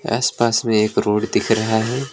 आस पास में एक रोड दिख रहा है।